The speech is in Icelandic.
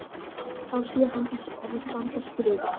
Þá sér hann þessi orð standa skrifuð: